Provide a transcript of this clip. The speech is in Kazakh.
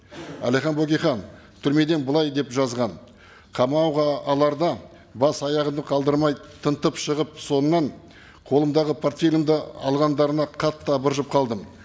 әлихан бөкейхан түрмеден былай деп жазған қамауға аларда бас аяғымды қалдырмай тынтып шығып сонымнан қолымдағы портфелімді алғандарына қатты абыржып қалдым